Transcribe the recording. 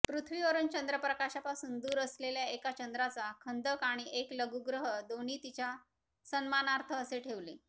पृथ्वीवरून चंद्रप्रकाशापासून दूर असलेल्या एका चंद्राचा खंदक आणि एक लघुग्रह दोन्ही तिच्या सन्मानार्थ असे ठेवले